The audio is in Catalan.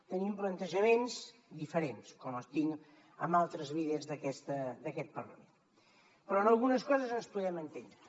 tenim plantejaments diferents com els tinc amb altres líders d’aquest parlament però en algunes coses ens podem entendre